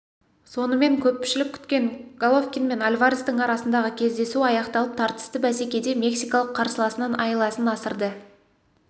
сонымен көпшілік көптен күткен головкин мен альварестің арасындағы кездесу аяқталып тартысты бәсекеде мексикалық қарсыласынан айласын асырды